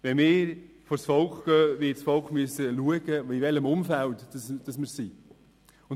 Wenn wir vors Volk gehen, wird das Volk schauen müssen, in welchem Umfeld wir uns befinden.